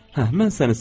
Hə, mən səni sevəcəm.